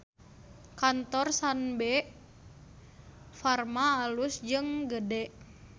Kantor Sanbe Farma alus jeung gede